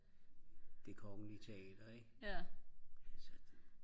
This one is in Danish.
det kongelige teater ik